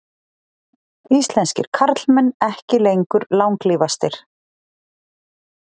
Íslenskir karlmenn ekki lengur langlífastir